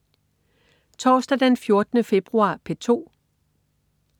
Torsdag den 14. februar - P2: